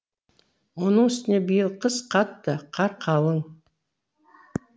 оның үстіне биыл қыс қатты қар қалың